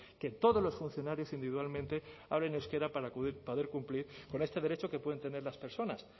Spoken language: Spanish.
que todos los funcionarios individualmente hablen euskera para poder cumplir con este derecho que pueden tener las personas